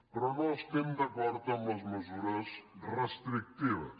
però no estem d’acord amb les mesures restrictives